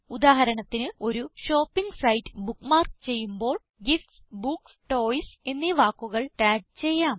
ഉദാഹരണത്തിന് ഒരു shopping site bookmark ചെയ്യുമ്പോൾ ഗിഫ്റ്റ്സ് ബുക്സ് ടോയ്സ് എന്നീ വാക്കുകളിൽ ടാഗ് ചെയ്യാം